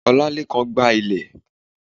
òlálekan gba ile